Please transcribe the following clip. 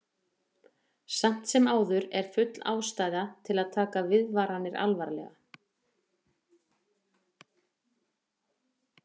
Samt sem áður er full ástæða til að taka viðvaranir alvarlega.